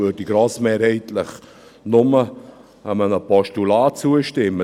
Wir würden grossmehrheitlich nur einem Postulat zustimmen.